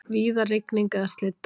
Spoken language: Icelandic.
Víða rigning eða slydda